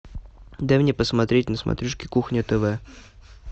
дай мне посмотреть на смотрешке кухня тв